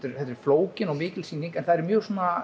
þetta er flókin og mikil sýning en það eru mjög